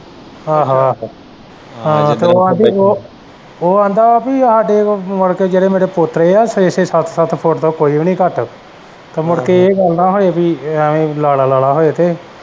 ਆਹੋ ਆਹੋ ਹਾਂ ਤੇ ਉਹ ਆਂਦਾ ਪੀ ਹਾਡੇ ਕੋਲ ਮੁੜਕੇ ਜੇੜੇ ਮੇਰੇ ਪੋਤਰੇ ਐ ਛੇ-ਛੇ, ਸੱਤ-ਸੱਤ ਫੁੱਟ ਤੋਂ ਕੋਈ ਵੀ ਨੀ ਘੱਟ ਤੇ ਮੁੜਕੇ ਏਹ ਗੱਲ ਨਾ ਹੋਵੇ ਪੀ ਲਾਲਾ ਲਾਲਾ ਹੋਏ ਤੇ।